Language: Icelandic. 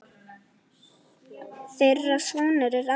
Þeirra sonur er Aron Breki.